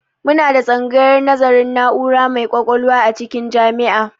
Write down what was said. Muna da tsangayar nazarin na'ura mai ƙwaƙwalwa a cikin jami'a